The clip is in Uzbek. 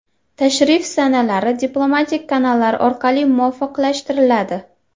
Tashrif sanalari diplomatik kanallar orqali muvofiqlashtiriladi.